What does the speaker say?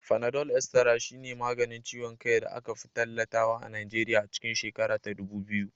Fanadol Estara shine maganin ciwon kai da aka fi tallatawa a Nigeriya a cikin shekara ta dubu biyu.